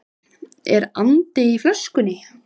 Er andi í flöskunni?